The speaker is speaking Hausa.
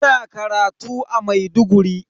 Ina karatu a Maiduguri.